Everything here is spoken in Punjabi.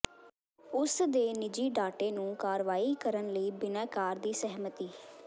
ਉਸ ਦੇ ਨਿੱਜੀ ਡਾਟੇ ਨੂੰ ਕਾਰਵਾਈ ਕਰਨ ਲਈ ਬਿਨੈਕਾਰ ਦੀ ਸਹਿਮਤੀ